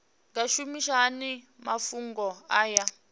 nga shumisa hani mafhumgo aya